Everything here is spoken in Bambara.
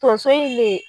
Tonso in ne